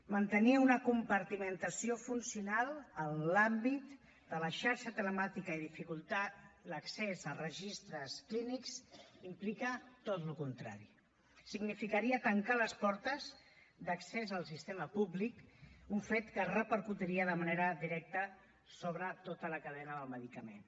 mantenir una compartimentació funcional en l’àmbit de la xarxa telemàtica i dificultar l’accés a registres clínics implica tot el contrari significaria tancar les portes d’accés al sistema públic un fet que repercutiria de manera directa sobre tota la cadena del medicament